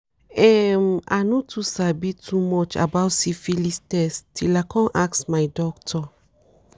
um i no too sabi too much about syphilis test till i come ask my doctor